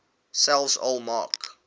selfs al maak